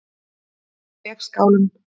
Vegskálum